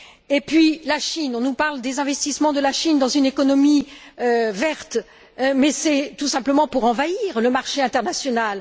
Et puis la Chine on nous parle des investissements de la Chine dans une économie verte, mais c'est tout simplement pour envahir le marché international.